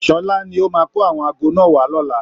Sọlá ni ó máa kó àwọn aago náà wá lọ́la